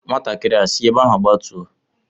Nwatakịrị a sị ebe ahụ gbatuo!